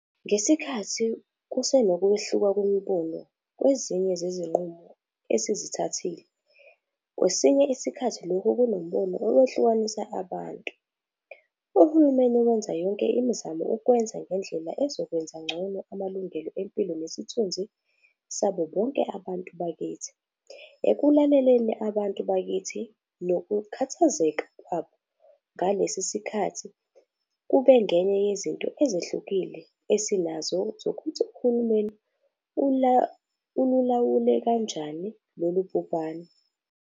Ngesikhathi kusenokwehluka kwemibono kwezinye zezi-nqumo esizithathile - kwesinye isikhathi lokhu kunombono owehlukanisa abantu - uhulumeni wenza yonke imizamo ukukwenza ngendlela ezokwenza ngcono amalungelo empilo nesithunzi sabobonke abantu bakithi. Ekulaleleni abantu bakithi nokukhathazeka kwabo ngalesi sikhathi kube ngeye yezinto ezehlukile esinazo zokuthi uhulumeni ululawule kanjani lolu bhubhane.